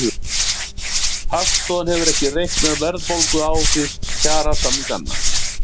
Hagstofan hefur ekki reiknað verðbólguáhrif kjarasamninganna